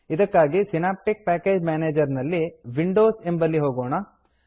ಇದಕ್ಕಾಗಿ synaptic package manager ನಲ್ಲಿ Windowsವಿಂಡೋಸ್ ಎಂಬಲ್ಲಿ ಹೋಗೋಣ